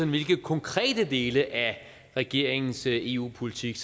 hvilke konkrete dele af regeringens eu politik